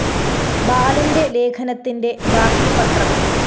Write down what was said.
ബാലന്റെ ലേഖനത്തിന്റെ ബാക്കി പത്രം